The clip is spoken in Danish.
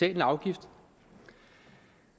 en afgift